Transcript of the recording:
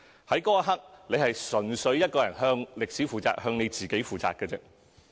在那一刻，選委純粹向歷史、向自己負責。